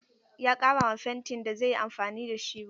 Ya ƙara ma fentin da zai yi amfani da shi ruwa.